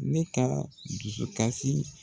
Ne ka dusukasi.